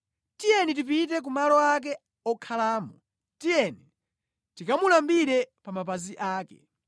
“Tiyeni tipite ku malo ake okhalamo; tiyeni tikamulambire pa mapazi ake.